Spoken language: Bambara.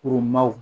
Kurun